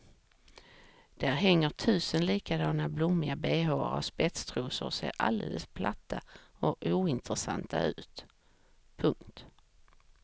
Där hänger tusen likadana blommiga behåar och spetstrosor och ser alldeles platta och ointressanta ut. punkt